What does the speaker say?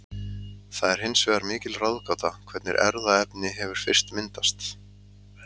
það er hins vegar mikil ráðgáta hvernig erfðaefni hefur fyrst myndast